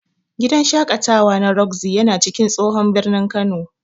Gidan shaƙatawa na Roxy yana cikin tsohon birnin Kano.